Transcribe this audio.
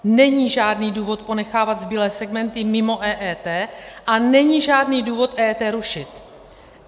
Není žádný důvod ponechávat zbylé segmenty mimo EET a není žádný důvod EET rušit.